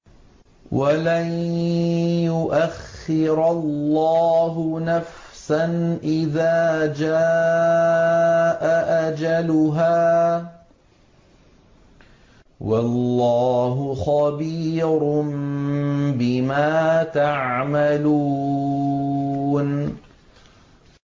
وَلَن يُؤَخِّرَ اللَّهُ نَفْسًا إِذَا جَاءَ أَجَلُهَا ۚ وَاللَّهُ خَبِيرٌ بِمَا تَعْمَلُونَ